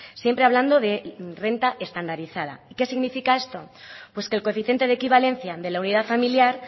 siempre hablando de renta estandarizada qué significa esto pues que el coeficiente de equivalencia de la unidad familiar